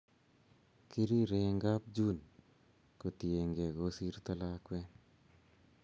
Kirire en kap june kotienge kosirto lakwet